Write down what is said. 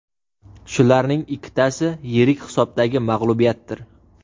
Shularning ikkitasi yirik hisobdagi mag‘lubiyatdir.